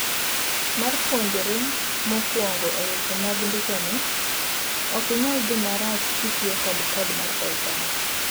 Mar jopuonjre mokuongo eweche mag ndikoni, ok inyal dhi marach kitiyo kod code mar Python.